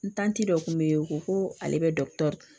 N tanti dɔ kun bɛ ye u ko ko ale bɛ dɔkutɔru